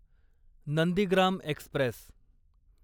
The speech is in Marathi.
नंदीग्राम एक्स्प्रेस